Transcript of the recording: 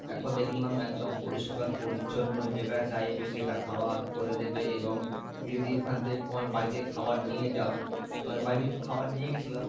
একজন দেখলাম একদম পরিষ্কার পরিচ্ছন্ন যেটা চাইবে সেটা খাওয়ার করে দেবে এবং তুমি যদি ওখান থেকে তোমার বাড়ি থেকে খাওয়ার নিয়ে যাও, তোমার বাড়ি থেকে কিছু খাওয়ার নিয়ে গেছিলাম,